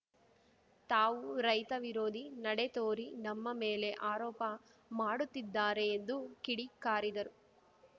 ತಾವು ರೈತ ವಿರೋಧಿ ನಡೆ ತೋರಿ ನಮ್ಮ ಮೇಲೆ ಆರೋಪ ಮಾಡುತ್ತಿದ್ದಾರೆ ಎಂದು ಕಿಡಿ ಕಾರಿದರು